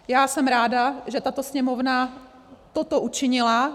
Já jsem ráda, že tato Sněmovna toto učinila.